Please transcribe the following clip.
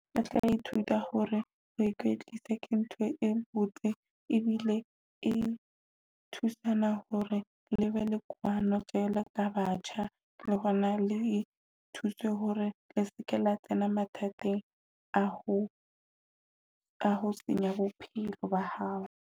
Ba tla ithuta hore ho ikwetlisa ke ntho e botse ebile e thusana hore le be le kwano jwalo ka batjha, le hona le thuswe hore le seke la tsena mathateng a ho a ho senya bophelo ba hao.